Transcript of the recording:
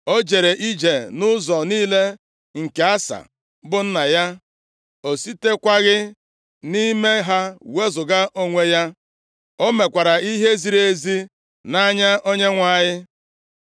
O jere ije nʼụzọ niile nke Asa bụ nna ya, o sitekwaghị nʼime ha wezuga onwe ya, o mekwara ihe ziri ezi nʼanya Onyenwe anyị.